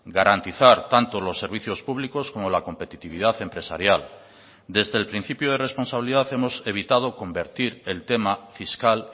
garantizar tanto los servicios públicos como la competitividad empresarial desde el principio de responsabilidad hemos evitado convertir el tema fiscal